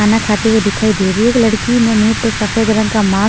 खाना खाते हुए दिखाई दे रही है एक लड़की ने मुंह पर सफेद रंग का मा--